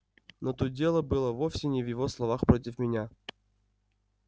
но тут дело было вовсе не в его словах против меня